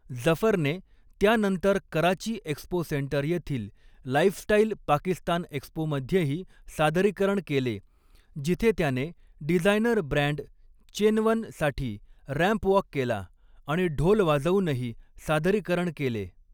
जफरने त्यानंतर Karachi expo centre येथील lifestyle Pakistan एक्स्पोमध्येही सादरीकरण केले, जिथे त्याने डिझायनर ब्रँड चेनवन साठी रॅम्प वॉक केला आणि ढोल वाजवूनही सादरीकरण केले.